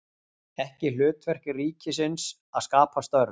Ekki hlutverk ríkisins að skapa störf